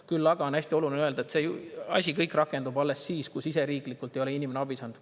Küll aga on hästi oluline öelda, et see asi kõik rakendub alles siis, kui siseriiklikult ei ole inimene abi saanud.